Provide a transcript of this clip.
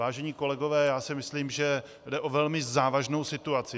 Vážení kolegové, já si myslím, že jde o velmi závažnou situaci.